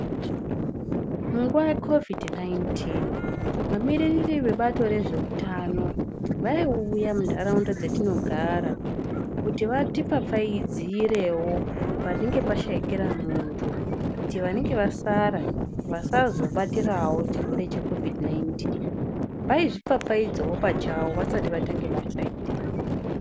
Munguva yekovidhi 19, vamiririri vebazi rezveurano vaiuya muntaraunda dzatinogara kuti vatipfapfaidzirewo panenge pashaikira muntu kuti vanenge vasara vasazobatirawo chirwere cheKovodhi 19, vaizvipfapfaidzawo pachavo vasati vatange basa iri.